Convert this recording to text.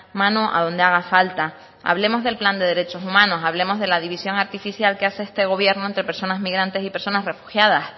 mano a donde haga falta hablemos del plan de derechos humanos hablemos de la división artificial que hace este gobierno entre personas migrantes y personas refugiadas